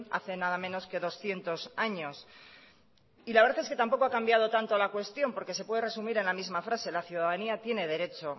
hace nada menos que doscientos años la verdad es que tampoco ha cambiado tanto la cuestión porque se puede resumir en la misma frase la ciudadanía tiene derecho